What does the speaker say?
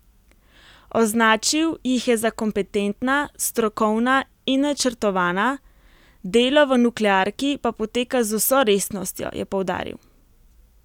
Označil jih je za kompetentna, strokovna in načrtovana, delo v nuklearki pa poteka z vso resnostjo, je poudaril.